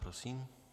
Prosím.